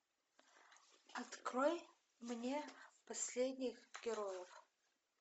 открой мне последних героев